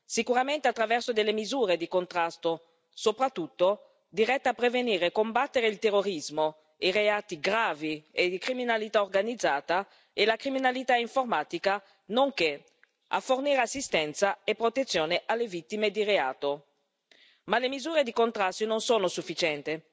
Sicuramente attraverso delle misure di contrasto, soprattutto dirette a prevenire e combattere il terrorismo, i reati gravi e di criminalità organizzata e la criminalità informatica, nonché a fornire assistenza e protezione alle vittime di reato. Ma le misure di contrasto non sono sufficienti.